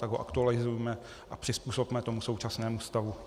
Tak ho aktualizujme a přizpůsobme tomu současnému stavu.